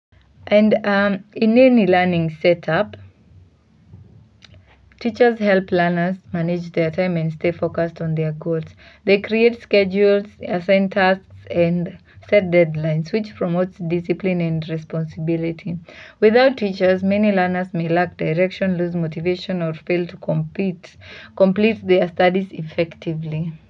In any learning setup, teachers help learners manage their time and stay focused on their goals. They create schedules, assign tasks and set deadlines, which promote discipline and responsibility. Without teachers, many learners may lack direction, lose motivation or fail to complete their studies effectively.